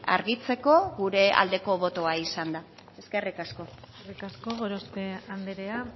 argitzeko gure aldeko botoa izan da eskerrik asko eskerrik asko gorospe andrea